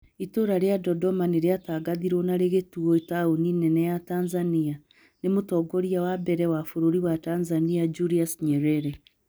Itũũra rĩa Dodoma nĩrĩatangathirwo na rĩgĩtuo taũni nene ya Tanzania. nĩ mũtongoria wa mbere wa Bũrũri wa Tanzania Julius Nyerere